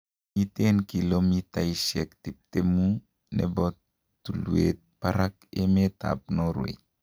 Miten kilomitaisiek tiptemu nebo tulwet barak emet an Norway.